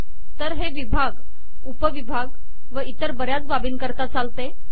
तर हे विभाग उपविभाग व इतर बऱ्याच बाबींकरता चालते